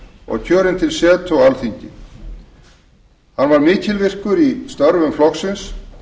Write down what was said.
og kjörinn til setu á alþingi hann var mikilvirkur í störfum flokksins